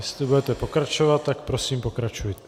Jestli budete pokračovat, tak prosím, pokračujte.